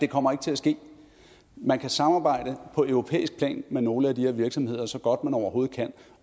kommer ikke til at ske man kan samarbejde på europæisk plan med nogle af de her virksomheder så godt som man overhovedet kan